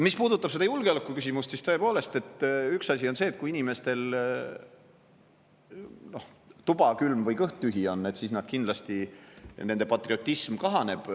Mis puudutab seda julgeolekuküsimust, siis tõepoolest, üks asi on see, et kui inimestel tuba on külm või kõht tühi, siis kindlasti nende patriotism kahaneb.